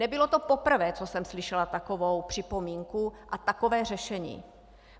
Nebylo to poprvé, co jsem slyšela takovou připomínku a takové řešení.